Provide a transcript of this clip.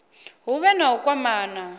hu vhe na u kwamana